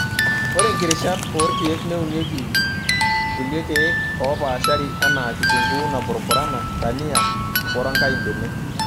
Ore nkirishat oorkiek neunokini kuli kiek opaashari enaa; kitunguu napurupurana, dania woronkai imbenek.